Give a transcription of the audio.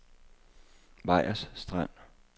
Vejers Strand